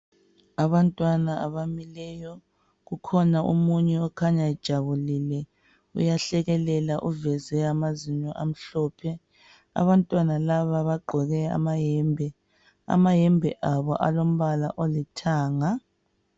Abantwana abamileyo. Kukhona omunye okhanya ejabulile. Uyahlekelela uveze amazinyo amhlophe. Abantwana laba bagqoke amayembe. Amayembe abo alombala olithanga.